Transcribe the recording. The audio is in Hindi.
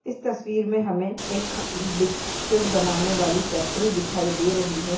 इस तस्वीर में हमे एक खा बिस्किट बनानेवाली फैक्ट्री दिखाई